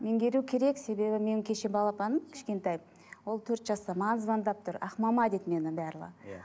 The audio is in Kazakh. меңгеру керек себебі менің кеше балапаным кішкентайым ол төрт жаста маған звондап тұр ақмама дейді мені барлығы иә